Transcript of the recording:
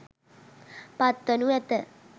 පත්වනු ඇත.